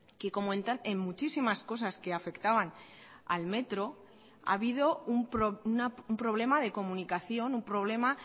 que como en muchísimas cosas que afectaban al metro ha habido un problema de comunicación un problema